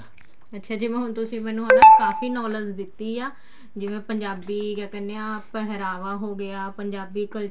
ਅੱਛਾ ਜਿਵੇਂ ਹੁਣ ਤੁਸੀਂ ਮੈਨੂੰ ਕਾਫੀ knowledge ਦਿੱਤੀ ਹੈ ਜਿਵੇਂ ਪੰਜਾਬੀ ਕਿਆ ਕਹਿਨੇ ਆ ਪਹਿਰਾਵਾ ਹੋਗਿਆ ਪੰਜਾਬੀ culture